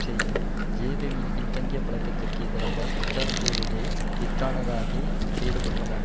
செய்யும் ஜேவிபியின் பின்தங்கிய பழக்கத்திற்கு எதிராக பிரச்சாரம் செய்ததே வித்தானகே செய்த குற்றமாகும்